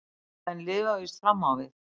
Menn lifa víst fram á við.